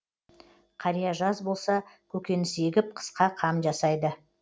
қария жаз болса көкөніс егіп қысқа қам жасайды